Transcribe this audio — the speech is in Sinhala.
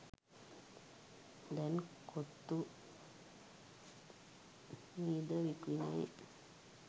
දැන් කොත්තු මී ද විකිණේ.